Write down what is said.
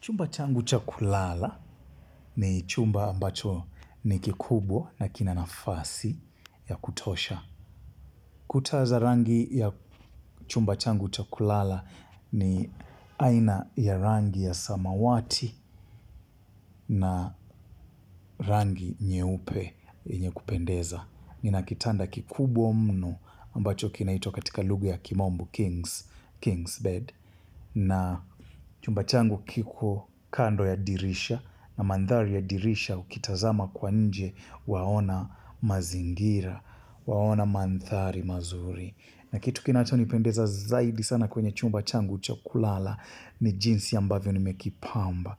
Chumba changu cha kulala ni chumba ambacho ni kikubwa na kina nafasi ya kutosha. Kuta za rangi ya chumba changu cha kulala ni aina ya rangi ya samawati na rangi nyeupe yenye kupendeza. Nina kitanda kikubwa mno ambacho kinaitwa katika lugha ya kimombo King's Bed, na chumba changu kiko kando ya dirisha. Na mandhari ya dirisha, ukitazama kwa nje, waona mazingira. Waona mandhari mazuri. Na kitu kinachonipendeza zaidi sana kwenye chumba changu cha kulala ni jinsi ambavyo nimekipamba,